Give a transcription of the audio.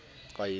ka nepo o se o